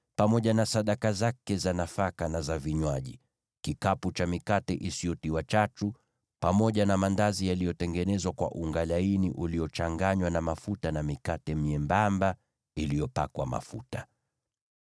pamoja na sadaka zake za nafaka na za vinywaji, na kikapu cha mikate isiyotiwa chachu, yaani maandazi yaliyotengenezwa kwa unga laini uliochanganywa na mafuta, na mikate myembamba iliyopakwa mafuta.